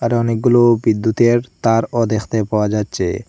এটা অনেকগুলো বিদ্যুতের তারও দেখতে পাওয়া যাচ্ছে।